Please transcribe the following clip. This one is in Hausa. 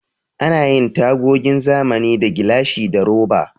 Ana yin tagogin zamani da gilashi da roba.